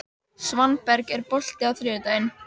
Svanberg, er bolti á þriðjudaginn?